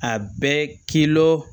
A bɛ k'ilo